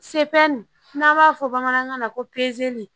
Can n'an b'a fɔ bamanankan na ko